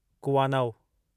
कुवानव